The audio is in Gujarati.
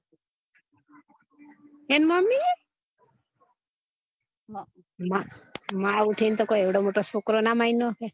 એની મમ્મી હમ માં ઉઠી ને કોય એવડો મોટો છોકરો મારી ના નાખે